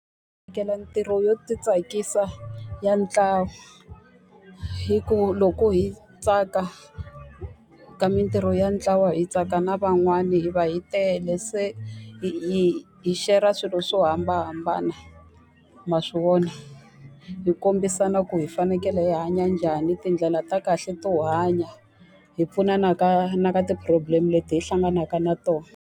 ntirho yo titsakisa ya ntlawa. Hikuva loko hi tsaka ka mintirho ya ntlawa hi tsaka na van'wani hi va hi tele, se hi hi share-a swilo swo hambanahambana. Ma swi vona? Hi kombisana ku hi fanekele hi hanya njhani, tindlela ta kahle to hanya, hi pfunana ka na ka ti-problem-e leti hi hlanganaka na tona.